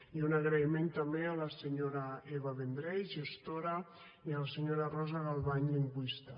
i un agraïment també a la senyora eva vendrell gestora i a la senyora rosa galvany lingüista